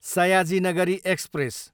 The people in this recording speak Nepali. सयाजी नगरी एक्सप्रेस